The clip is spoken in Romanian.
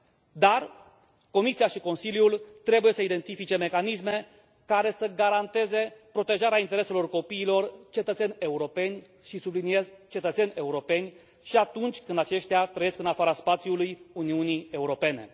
Dar Comisia și Consiliul trebuie să identifice mecanisme care să garanteze protejarea intereselor copiilor, cetățeni europeni, și subliniez, cetățeni europeni, și atunci când aceștia trăiesc în afara spațiului Uniunii Europene.